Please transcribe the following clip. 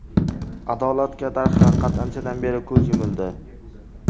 Adolatga, darhaqiqat, anchadan beri ko‘z yumildi.